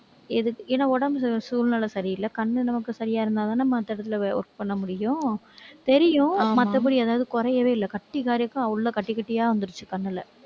எது~ ஏன்னா, உடம்புக்கு சூழ்நிலை சரியில்லை. கண்ணு நமக்கு சரியா இருந்தாதானே, மத்த இடத்துல போய் work பண்ண முடியும். தெரியும், மத்தபடி அதாவது குறையவே இல்லை. கட்டி உள்ள கட்டி, கட்டி கட்டியா வந்துருச்சு கண்ணுல.